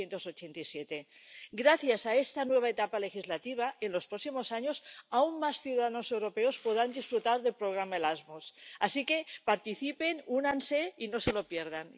1987. Gracias a esta nueva etapa legislativa, en los próximos años, aún más ciudadanos europeos podrán disfrutar del programa Erasmus, así que, participen, únanse y no se lo pierdan.